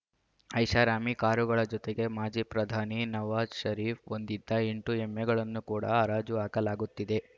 ಐಷಾರಾಮಿ ಕಾರುಗಳ ಜೊತೆಗೆ ಮಾಜಿ ಪ್ರಧಾನಿ ನವಾಜ್‌ ಷರೀಫ್‌ ಹೊಂದಿದ್ದ ಎಂಟು ಎಮ್ಮೆಗಳನ್ನು ಕೂಡ ಹರಾಜುಹಾಕಲಾಗುತ್ತಿದೆ